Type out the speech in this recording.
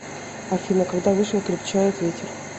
афина когда вышел крепчает ветер